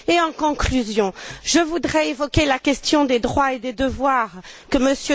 En conclusion, je voudrais évoquer la question des droits et des devoirs que M.